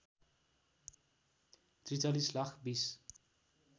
४३ lakh २०